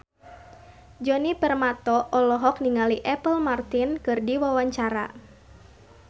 Djoni Permato olohok ningali Apple Martin keur diwawancara